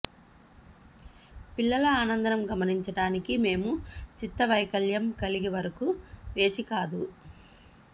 పిల్లల ఆనందం గమనించడానికి మేము చిత్తవైకల్యం కలిగి వరకు వేచి కాదు